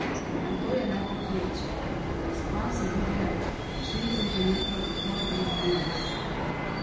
A to je le povprečje, razpon se giblje od štirih centimetrov in pol do enajst.